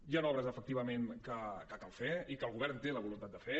hi han obres efectivament que cal fer i que el govern té la voluntat de fer